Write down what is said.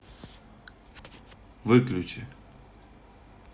выключи